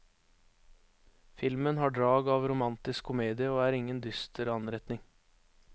Filmen har drag av romantisk komedie, og er ingen dyster anretning.